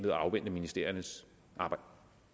at afvente ministeriernes arbejde